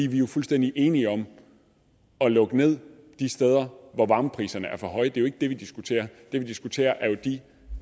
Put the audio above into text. vi er jo fuldstændig enige om at lukke ned de steder hvor varmepriserne er for høje det er jo ikke det vi diskuterer det vi diskuterer er de